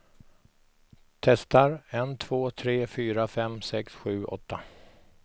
Testar en två tre fyra fem sex sju åtta.